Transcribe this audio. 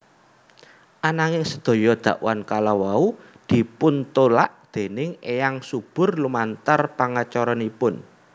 Ananging sedaya dakwan kalawau dipuntulak déning Eyang Subur lumantar pengacaranipun